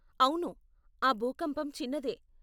అవును, ఆ భూకంపం చిన్నదే.